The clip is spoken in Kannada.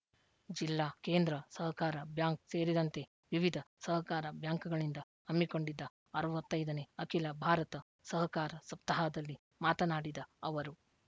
ಜಿಲ್ಲಾ ಕೇಂದ್ರ ಸಹಕಾರ ಬ್ಯಾಂಕ್‌ ಸೇರಿದಂತೆ ವಿವಿಧ ಸಹಕಾರ ಬ್ಯಾಂಕ್‌ಗಳಿಂದ ಹಮ್ಮಿಕೊಂಡಿದ್ದ ಅರವತ್ತ್ ಐದು ನೇ ಅಖಿಲ ಭಾರತ ಸಹಕಾರ ಸಪ್ತಾಹದಲ್ಲಿ ಮಾತನಾಡಿದ ಅವರು